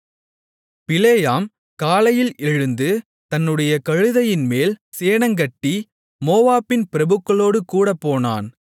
பிலேயாம் காலையில் எழுந்து தன்னுடைய கழுதையின்மேல் சேணங்கட்டி மோவாபின் பிரபுக்களோடு கூடப் போனான்